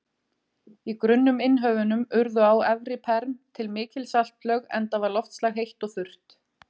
Í grunnum innhöfunum urðu á efra-perm til mikil saltlög enda var loftslag heitt og þurrt.